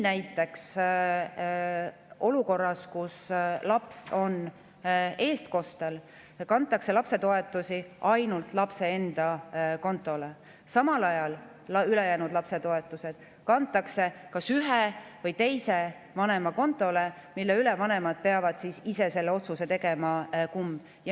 Näiteks olukorras, kus laps on eestkostel, kantakse lapse toetusi ainult lapse enda kontole, samal ajal ülejäänud lapsetoetused kantakse kas ühe või teise vanema kontole, vanemad peavad ise selle otsuse tegema, kumma.